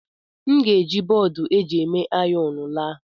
M ga-eji bọọdụ eji eme ayọn laa.